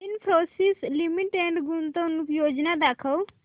Infosys limited गुंतवणूक योजना दाखव